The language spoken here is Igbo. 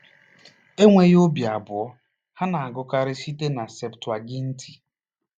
Enweghị obi abụọ, ha na-agụkarị site na Septụaginti.